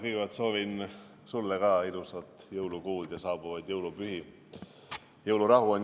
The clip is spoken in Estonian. Kõigepealt soovin sulle ka ilusat jõulukuud ja saabuvaid jõulupühi!